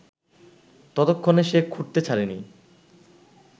ততক্ষণে সে খুঁড়তে ছাড়েনি